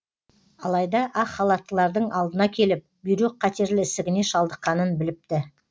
алайда ақ халаттылардың алдына келіп бүйрек қатерлі ісігіне шалдыққанын біліпті